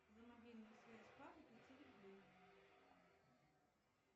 за мобильную связь папа пятьсот рублей